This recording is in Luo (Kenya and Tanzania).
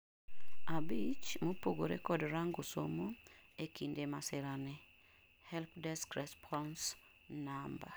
abich, mopogore kod rango somo, e kinde masira ni (Helpdesk Response No)